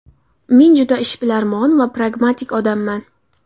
Men juda ishbilarmon va pragmatik odamman.